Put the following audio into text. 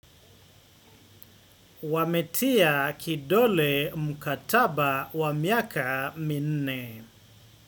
Wametia kidole mukataba wa miaka minne.